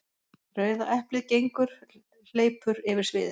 Rauða eplið gengur/hleypur yfir sviðið.